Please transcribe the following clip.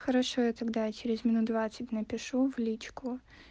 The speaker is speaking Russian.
хорошо я тогда через минут двадцать напишу в личку